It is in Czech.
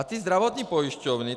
A ty zdravotní pojišťovny...